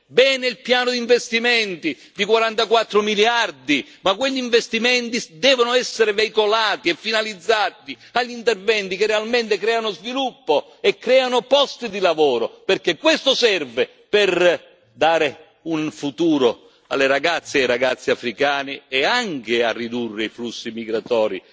Bene il piano di investimenti di 44 miliardi ma quegli investimenti devono essere veicolati e finalizzati agli interventi che realmente creano sviluppo e creano posti di lavoro, perché questo serve per dare un futuro alle ragazze e ai ragazzi africani e anche a ridurre i flussi migratori.